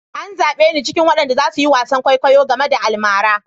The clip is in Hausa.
An zabe ni cikin waɗanda za su yi wasan kwaikwayo game da almara.